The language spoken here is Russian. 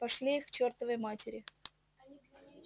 пошли их к чёртовой матери